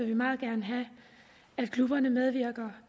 vi meget gerne have at klubberne medvirker